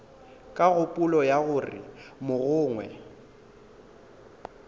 ka kgopolo ya gore mogongwe